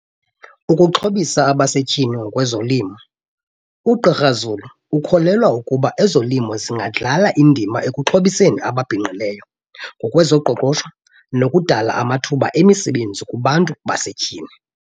Ukuxhobisa abasetyhini ngokwezolimo. UGqr Zulu ukholelwa ukuba ezolimo zingadlala indima ekuxhobiseni ababhinqileyo kwezoqoqosho nokudala amathuba emisebenzi kubantu basetyhini.